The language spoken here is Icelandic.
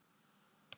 Það er að koma!